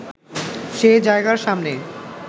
সে জায়গার সামনে